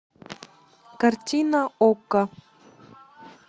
картина окко